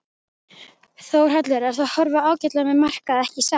Þórhallur: En það horfir ágætlega með markaði ekki satt?